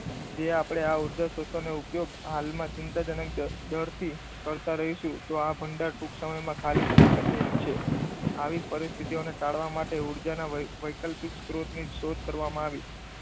જે આપણે આ ઉર્જા સ્ત્રોતોનો ઉપયોગ હાલમાં ચિંતાજનક દરથી કરતા રહીશું, તો આ ભંડાર ટૂંક સમયમાં ખાલી થઈ શકે એમ છે. આવી પરિસ્થિતિ ટાળવા માટે ઊર્જાના વૈકલ્પિક સ્ત્રોત ની શોધ કરવામાં આવી.